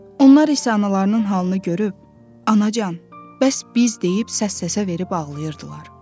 Onlar isə analarının halını görüb, anacan, bəs biz deyib səs-səsə verib ağlayırdılar.